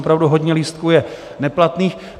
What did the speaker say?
Opravdu hodně lístků je neplatných.